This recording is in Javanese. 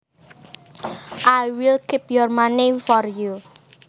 I will keep your money for you